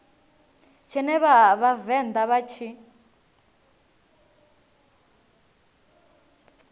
tshine vha vhavenḓa vha tshi